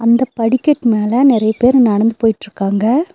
இந்த படிக்கட் மேல நெறைய பேரு நடந்து போயிட்ருக்காங்க.